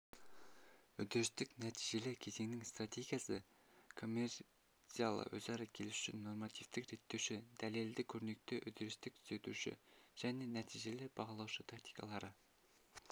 үдерістік-нәтижелі кезеңнің стратегиясы коммерциялық-өзара келісуші нормативтік реттеуші дәлелді көрнекі үдерістік түзетуші және нәтижелі бағалаушы тактикалары